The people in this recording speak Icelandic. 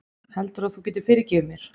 Heldurðu að þú getir fyrirgefið mér?